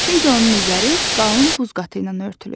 Çünki onun üzəri qalın buz qatı ilə örtülüb.